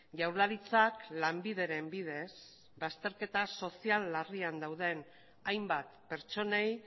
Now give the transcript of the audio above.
jaurlaritzak lanbideren bidez bazterketa sozial larrian dauden hainbat pertsonei